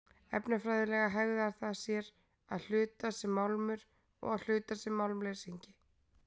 Efnafræðilega hegðar það sér að hluta sem málmur og að hluta sem málmleysingi.